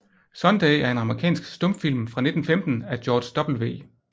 Sunday er en amerikansk stumfilm fra 1915 af George W